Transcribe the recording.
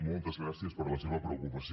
moltes gràcies per la seva preocupació